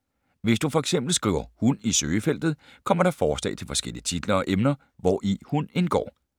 Hvis du for eksempel skriver hund i søgefeltet, kommer der forslag til forskellige titler og emner, hvori hund indgår.